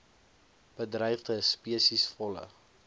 bedreigde spesies volle